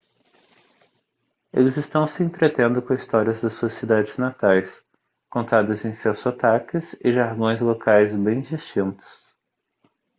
eles estão se entretendo com histórias das suas cidades natais contadas em seus sotaques e jargões locais bem distintos